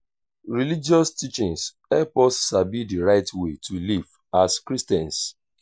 religious teachings help us sabi di right way to live as christians.